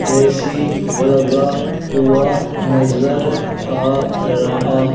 AC लगा हुआ नजर आ रहा--